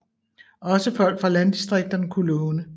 Også folk fra landdistrikterne kunne låne